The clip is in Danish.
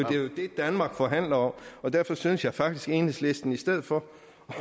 danmark forhandler om og derfor synes jeg faktisk at enhedslisten i stedet for